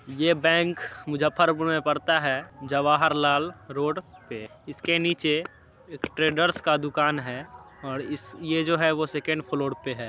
ये बैंक मुज्जफरपुर में पड़ता है जवाहरलाल रोड पे। इसके नीचे ट्रेडर्स का दुकान है और इस ये जो है वो सेकंड फ्लोर पे है।